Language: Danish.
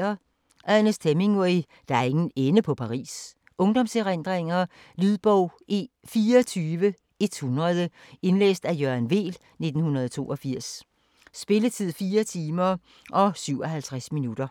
Hemingway, Ernest: Der er ingen ende på Paris Ungdomserindringer. Lydbog 24100 Indlæst af Jørgen Weel, 1982. Spilletid: 4 timer, 57 minutter.